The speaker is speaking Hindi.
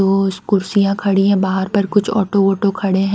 तो उस कुर्सियाँ खड़ी है बाहर पर कुछ ऑटो वोटो खड़े हैं।